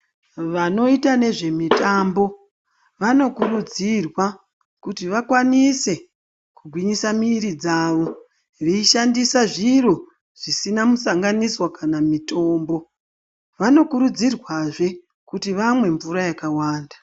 Vanoita nezvemitambo vanokurudzirwa kuti vakwanise kugwinyisa muiri dzavo veishandisa zviro zvisina musanganiswa kana mitombo. Vanokurudzirwazve kuti vamwe mvura yakawanda.